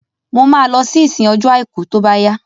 Mo ma lọ sí ìsìn ọjọ́ àìkú tó bá yá